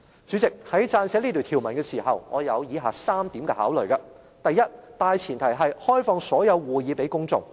主席，在撰寫這條文的時候，我有以下3點考慮：第一、大前提是開放所有會議予公眾。